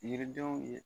Yiridenw ye